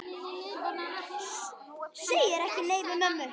Segir ekki nei við mömmu!